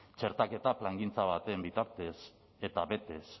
txertaketa plangintza baten bitartez eta betez